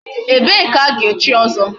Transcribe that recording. Ebee ka ga-echi ọzọ?